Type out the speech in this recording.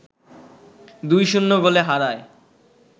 ২-০ গোলে হারায়